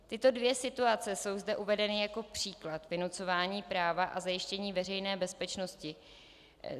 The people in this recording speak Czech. Tyto dvě situace jsou zde uvedeny jako příklad vynucování práva a zajištění veřejné bezpečnosti.